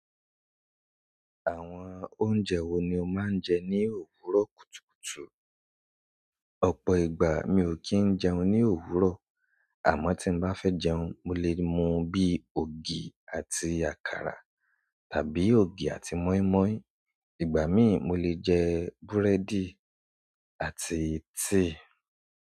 Àwọn oúnjẹ wo ni o máa ń jẹ ní òwúrọ̀ kùtùkùtù? Ọ̀pọ̀ ìgbà mi ò kí ń jẹun ní òwúrọ̀, àmọ́ tí mo bá fẹ́ jẹun, mo lè mu bí i ògì àti àkàrà tàbí ògì àti mọ́ímọ́í. Igbamii mo le jẹ búrẹ́dì àti tea.